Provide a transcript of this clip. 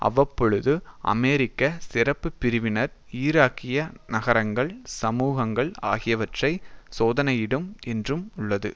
அவ்வப்பொழுது அமெரிக்க சிறப்பு பிரிவினர் ஈராக்கிய நகரங்கள் சமூகங்கள் ஆகியவற்றை சோதனையிடும் என்றும் உள்ளது